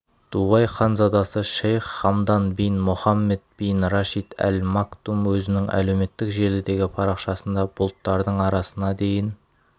дубай ханзадасышейх хамдан бин мохаммед бин рашид аль мактум өзінің әлеуметтік желідегі парақшасында бұлттардың арасына дейін